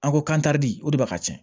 An ko kan kari di o de b'a ka cɛn